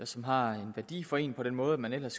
som har en værdi for en på den måde at man ellers